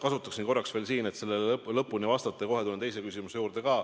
Kasutaksin korraks veel võimalust, et sellele lõpuni vastata, ja seejärel tulen kohe teise küsimuse juurde.